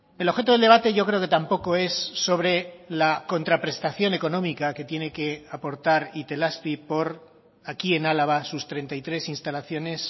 el objeto del debate yo creo que tampoco es sobre la contraprestación económica que tiene que aportar itelazpi por aquí en álava sus treinta y tres instalaciones